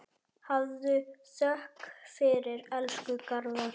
Hafðu þökk fyrir, elsku Garðar.